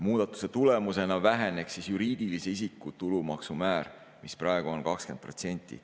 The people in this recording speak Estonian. Muudatuse tulemusena väheneks juriidilise isiku tulumaksumäär, mis praegu on 20%.